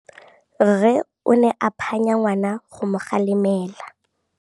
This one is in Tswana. Rre o ne a phanya ngwana go mo galemela.